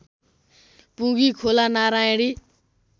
पुँगी Khola Narayani